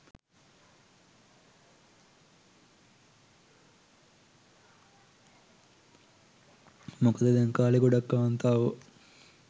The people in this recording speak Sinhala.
මොකද දැන් කාලෙ ගොඩක් කාන්තාවො